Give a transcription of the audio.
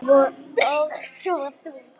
Og svo þú.